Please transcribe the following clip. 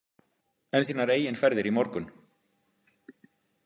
En þínar eigin ferðir í morgun?